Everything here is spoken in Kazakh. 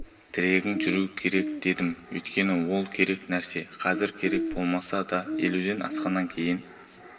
тірегің жүру керек дедім өйткені ол керек нәрсе қазір керек болмаса да елуден асқаннан кейін